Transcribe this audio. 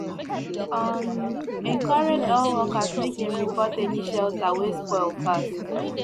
um encourage all workers make dem report any shelter wey spoil fast